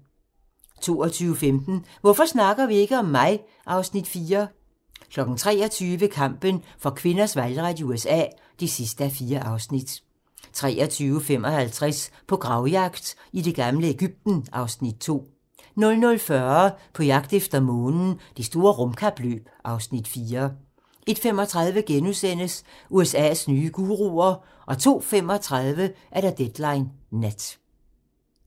22:15: Hvorfor snakker vi ikke om mig? (Afs. 4) 23:00: Kampen for kvinders valgret i USA (4:4) 23:55: På gravjagt i det gamle Egypten (Afs. 2) 00:40: På jagt efter Månen - Det store rumkapløb (Afs. 4) 01:35: USA's nye guruer * 02:35: Deadline Nat